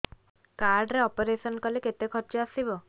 card ରେ operation କଲେ କେତେ ଖର୍ଚ ଆସିବ